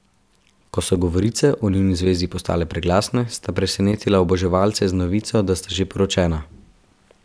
Ko so govorice o njuni zvezi postale preglasne, sta presenetila oboževalce z novico, da sta že poročena.